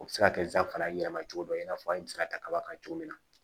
O bɛ se ka kɛ sisan fana yɛlɛma cogo dɔ ye i n'a fɔ an bɛ se ka ta kaba kan cogo min na